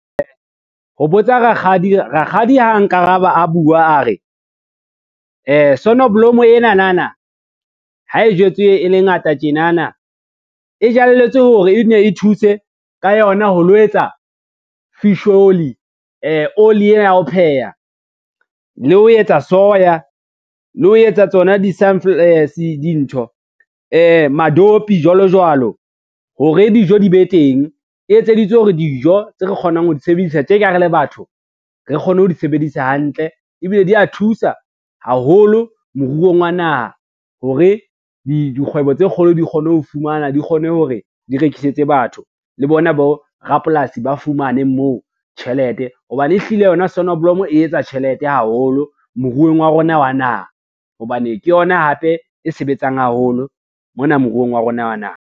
Ho botsa rakgadi, rakgadi ha nkaraba a bua a re, sonoblomo enanana ha e jwetswe e le ngata tjenana, e jalletswe hore e nne e thuse ka yona ho lo etsa fish oli oli ena ya ho pheha, le ho etsa soya, le ho etsa tsona dintho madopi jwalo jwalo, hore dijo di be teng. E etseditswe hore dijo tse re kgonang ho di sebedisa tje ka ha re le batho re kgone ho di sebedisa hantle ebile di a thusa haholo moruong wa naha, hore dikgwebo tse kgolo di kgone ho fumana, di kgone hore di rekisetse batho le bona borapolasi ba fumane moo tjhelete hobane ehlile yona sonoblomo e etsa tjhelete haholo moruong wa rona wa naha, hobane ke yona hape e sebetsang haholo mona moruong wa rona wa naha.